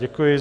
Děkuji.